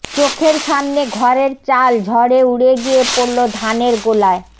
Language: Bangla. চোখের সামনে ঘরের চাল ঝড়ে উড়ে গিয়ে পড়ল ধানের গোলায়